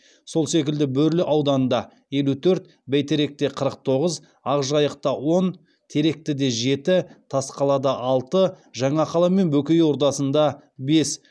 сол секілді бөрлі ауданында елу төрт бәйтеректе қырық тоғыз ақжайықта он теректіде жеті тасқалада алты жаңақала мен бөкей ордасында бес